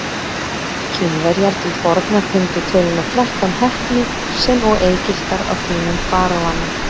Kínverjar til forna tengdu töluna þrettán heppni sem og Egyptar á tímum faraóanna.